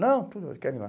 Não, tudo bem, quero ir lá.